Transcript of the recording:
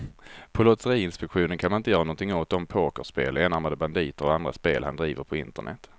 På lotteriinspektionen kan man inte göra någonting åt de pokerspel, enarmade banditer och andra spel han driver på internet.